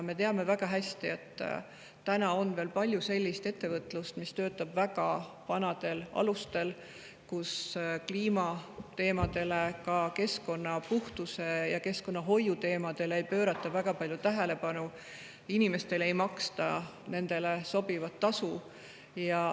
Me teame väga hästi, et on veel palju sellist ettevõtlust, mis töötab väga vanadel alustel, kus kliimateemadele, ka keskkonnapuhtuse ja keskkonnahoiu teemadele ei pöörata väga palju tähelepanu ja inimestele ei maksta sobivat tasu.